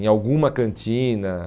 em alguma cantina.